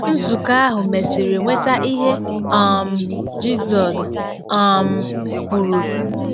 Nzukọ ahụ mesịrị nweta ihe um Jizọs um kwuru.